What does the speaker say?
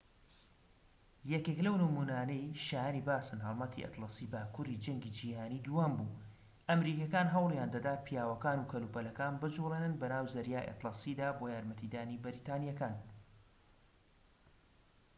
یەکێك لەو نمونانەی شایەنی باسن هەڵمەتی ئەتلەسی باكووری جەنگی جیهانی دووهەم بوو ئەمریکیەکان هەوڵیان دەدا پیاوەکان و کەلوپەلەکان بجوڵێنن بەناو زەریای ئەتلەسیدا بۆ یارمەتیدانی بەریتانیەکان